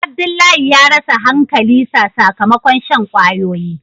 Abdullahi ya rasa hankali sa sakamakon shan kwayoyi.